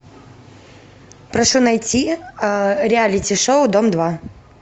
прошу найти реалити шоу дом два